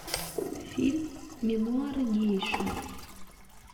фильм мемуары гейши